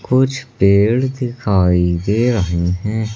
कुछ पेड़ दिखाई दे रहे हैं।